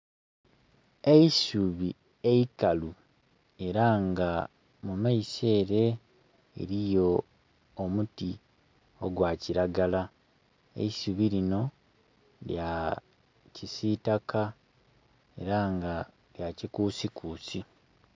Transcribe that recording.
Eisubi eikalu era nga mu maiso ere eriyo omuti ogwa kiragala. Eisubi lino lya kisitaka era nga lya kikusikusi.